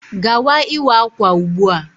Gawa ịwa ákwà ugbu a.